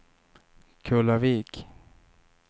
Kullavik